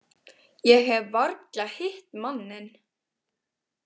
Ég hef varla hitt manninn.